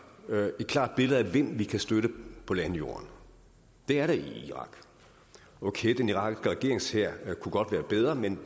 et klart billede af hvem vi kan støtte på landjorden det er der i irak okay den irakiske regeringshær kunne godt være bedre men